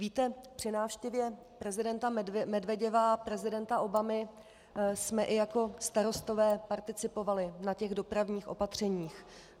Víte, při návštěvě prezidenta Medveděva a prezidenta Obavy jsme i jako starostové participovali na těch dopravních opatřeních.